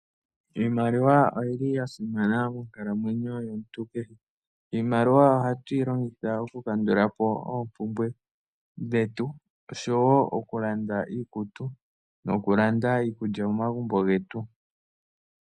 Iimaliwa oyili yasima monkalamwenyo yomuntu kehe, oshoka oha tuyi longitha okukandula po oompumbwe dhetu okulanda iikutu niikulya momagumbo getu.